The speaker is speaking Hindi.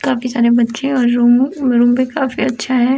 काफी सारे बच्चे और रूम रूम भी अच्छे हैं।